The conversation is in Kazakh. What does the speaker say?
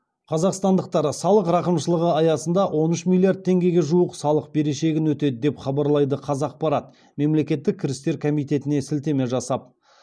қазақстандықтар салық рақымшылығы аясында он үш миллиард теңгеге жуық салық берешегін өтеді деп хабарлайды қазақпарат мемлекеттік кірістер комитетіне сілтеме жасап